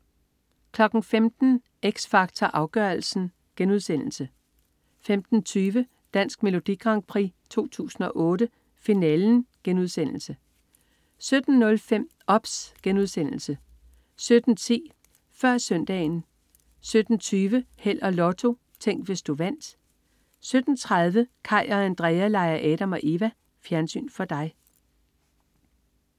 15.00 X Factor Afgørelsen* 15.20 Dansk Melodi Grand Prix 2008. Finalen* 17.05 OBS* 17.10 Før Søndagen 17.20 Held og Lotto. Tænk, hvis du vandt 17.30 Kaj og Andrea leger Adam og Eva. Fjernsyn for dig